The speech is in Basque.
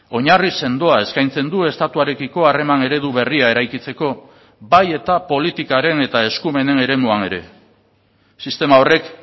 oinarri sendoa eskaintzen du estatuarekiko harreman eredu berria eraikitzeko bai eta politikaren eta eskumenen eremuan ere sistema horrek